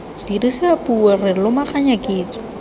dirisa puo re lomaganya kitso